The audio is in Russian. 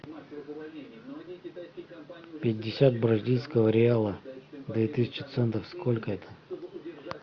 пятьдесят бразильского реала две тысячи центов сколько это